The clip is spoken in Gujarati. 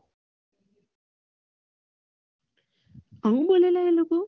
આવું બોલ્યા